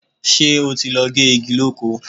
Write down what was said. Ṣé o ti lọ gé igi lóko?